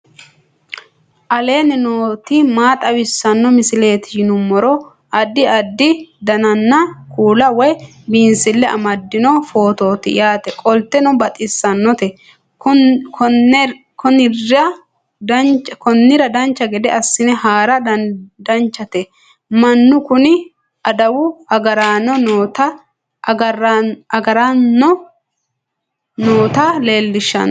aleenni nooti maa xawisanno misileeti yinummoro addi addi dananna kuula woy biinsille amaddino footooti yaate qoltenno baxissannote konnira dancha gede assine haara danchate mannu kuni adawu agarano noota leellishshano